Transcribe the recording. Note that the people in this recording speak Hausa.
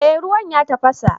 Eh ruwan ya tafasa